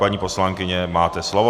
Paní poslankyně, máte slovo.